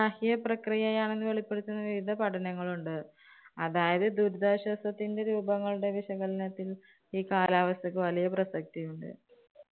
പ്രക്രിയ ആണെന്ന് വെളിപ്പെടുത്തുന്ന വിവിധ പഠനങ്ങളുണ്ട്. അതായത് ദുരിതാശ്വാസത്തിന്‍റെ രൂപങ്ങളുടെ വിശകലനത്തില്‍ ഈ കാലാവസ്ഥയ്ക്ക് വളരെ പ്രസക്തിയുണ്ട്.